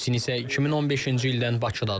Yucin isə 2015-ci ildən Bakıdadır.